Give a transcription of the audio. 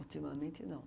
Ultimamente, não.